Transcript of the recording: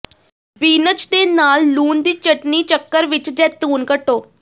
beans ਦੇ ਨਾਲ ਲੂਣ ਦੀ ਚਟਣੀ ਚੱਕਰ ਵਿਚ ਜੈਤੂਨ ਕੱਟੋ